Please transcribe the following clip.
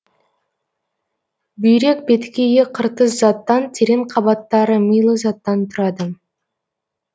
бүйрек беткейі қыртыс заттан терең қабаттары милы заттан тұрады